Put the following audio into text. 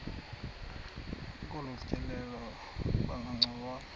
kolu tyelelo bangancokola